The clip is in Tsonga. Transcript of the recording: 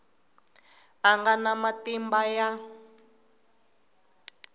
a nga na matimba ya